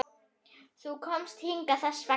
Þú komst hingað þess vegna.